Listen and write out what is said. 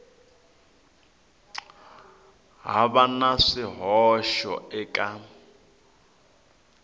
ha va na swihoxo eka